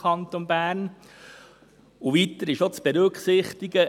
Weiter ist auch zu berücksichtigen: